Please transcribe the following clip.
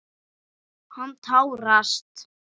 Hann tárast.